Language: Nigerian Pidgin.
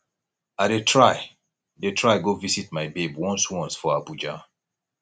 i dey try dey try go visit my babe once once for abuja